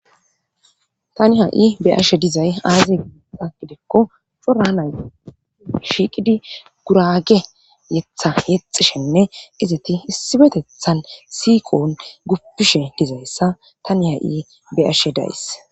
tani ha'i be'ashe dizay aazi agidekko corana shiiqidi gurage yetha yexishenne izati hissibetethan siiqoon guppishe dizayssa tani ha'i be'ashe da'ays